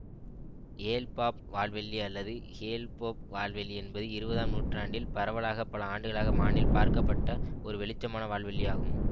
Hale-Bopp வால்வெள்ளி அல்லது Hale Bopp வால்வெள்ளி என்பது இருபதாம் நூற்றாண்டில் பரவலாக பல ஆண்டுகளாக வானில் பார்க்கப்பட்ட ஒரு வெளிச்சமான வால்வெள்ளி ஆகும்